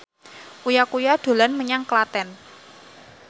Uya Kuya dolan menyang Klaten